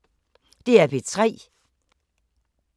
DR P3